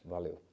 Valeu.